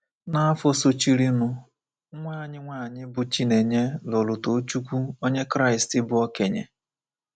N’afọ sochirinụ, nwa anyị nwanyị, bụ́ Chinenye, lụrụ Tochukwu, onye Kraịst bụ́ okenye.